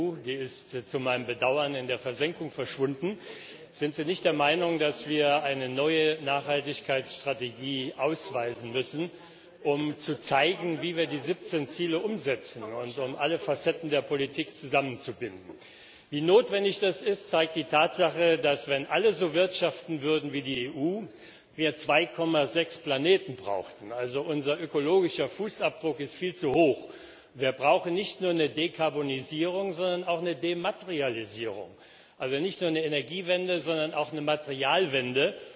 Frau Präsidentin! Herr Vizepräsident Timmermans, es gab mal eine Nachhaltigkeitsstrategie der EU. Die ist zu meinem Bedauern in der Versenkung verschwunden. Sind Sie nicht der Meinung, dass wir eine neue Nachhaltigkeitsstrategie ausweisen müssen, um zu zeigen, wie wir die 17 Ziele umsetzen, und um alle Facetten der Politik zusammenzubinden? Wie notwendig das ist, zeigt die Tatsache, dass, wenn alle so wirtschaften würden wie die EU, wir 2,6 Planeten bräuchten. Also, unser ökologischer Fußabdruck ist viel zu hoch. Wir brauchen nicht nur eine Dekarbonisierung, sondern auch eine Dematerialisierung. Also nicht nur eine Energiewende, sondern auch eine Materialwende.